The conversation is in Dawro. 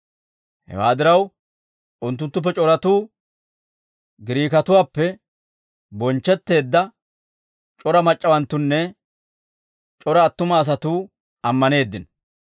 Hewaa diraw, unttunttuppe c'oratuu, Giriikatuwaappe bonchchetteedda c'ora mac'c'awanttunne c'ora attuma asatuu ammaneeddino.